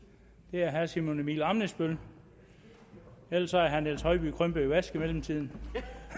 det er herre simon emil ammitzbøll ellers er herre niels høiby krympet i vask i mellemtiden